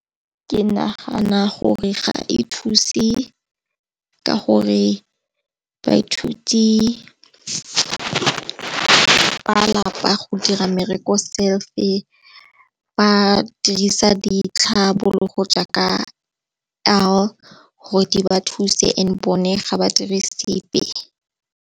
Ke nagana gore ga e thuse ka gore baithuti ba lapa go dira mmereko self-e ba dirisa ditlhabologo jaaka gore di ba thuse and bone ga ba dire sepe.